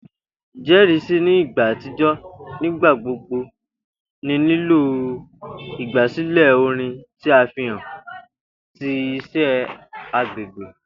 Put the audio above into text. Ijẹrisi ni igba atijọ nigbagbogbo nilo igbasilẹ orin ti a fihan ti iṣẹ agbegbe.